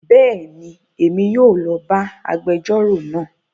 Béèni, Èmí yóò lo bá agbẹjọro náà